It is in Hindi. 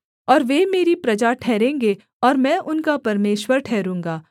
और वे मेरी प्रजा ठहरेंगे और मैं उनका परमेश्वर ठहरूँगा